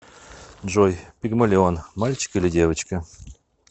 джой пигмалион мальчик или девочка